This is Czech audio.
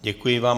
Děkuji vám.